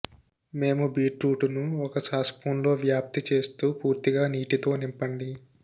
మేము బీట్రూటును ఒక సాస్పున్లో వ్యాప్తి చేస్తూ పూర్తిగా నీటితో నింపండి